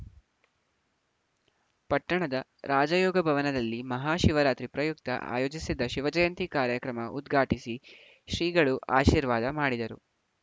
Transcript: ಪಟ್ಟಣದ ರಾಜಯೋಗ ಭವನದಲ್ಲಿ ಮಹಾ ಶಿವರಾತ್ರಿ ಪ್ರಯುಕ್ತ ಆಯೋಜಿಸಿದ್ದ ಶಿವಜಯಂತಿ ಕಾರ್ಯಕ್ರಮ ಉದ್ಘಾಟಿಸಿ ಶ್ರೀಗಳು ಆಶೀರ್ವಾದ ಮಾಡಿದರು